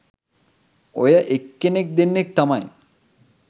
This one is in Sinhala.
ඔය එක්කෙනෙක් දෙන්නෙක් තමයි